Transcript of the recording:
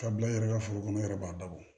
Ka bila i yɛrɛ ka foro kɔnɔ i yɛrɛ b'a dabɔ